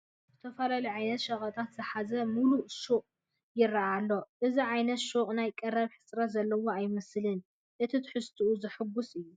ዝተፈላለዩ ዓይነት ሸቐጣት ዝሓዘ ሙሉእ ሱቕ ይርአ ኣሎ፡፡ እዚ ዓይነት ሹቕ ናይ ቀረብ ሕፅረት ዘለዎ ኣይመስልን፡፡ እቲ ትሕዝቱኡ ዘሕጉስ እዩ፡፡